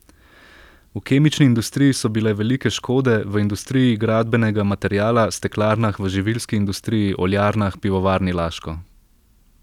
V kemični industriji so bile velike škode, v industriji gradbenega materiala, steklarnah, v živilski industriji, oljarnah, pivovarni Laško.